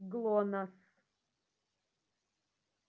глонассс